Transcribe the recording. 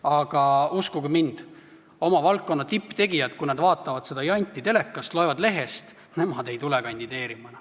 Aga uskuge mind, kui tipptegijad vaatavad seda janti telekast ja loevad selle kohta lehest, ei tule nad enam kandideerima.